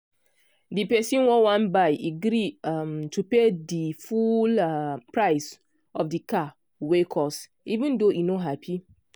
de person wey wan buy e gree um to pay di full um price of de car wey cost even though e no happy.